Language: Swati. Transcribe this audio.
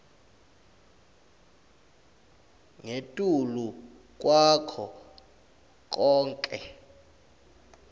ngetulu kwako konkhe